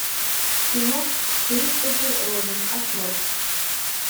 кино кристофер робин открой